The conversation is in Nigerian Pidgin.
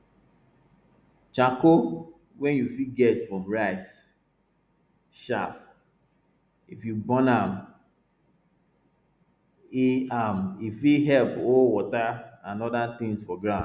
charcoal wey you fit get from rice chaff if you burn am e am e fit help hold water and oda tins for ground